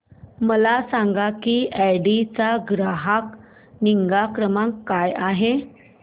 मला सांग की ऑडी चा ग्राहक निगा क्रमांक काय आहे